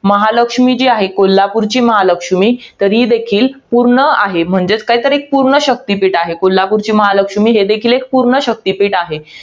महालक्ष्मी जी आहे. कोल्हापूरची महालक्ष्मी, तर ही देखील एक पूर्ण आहे. म्हणजेच काय तर एक पूर्ण शक्तीपीठ आहे. कोल्हापूरची महालक्ष्मी हे देखील एक पूर्ण शक्तीपीठ आहे.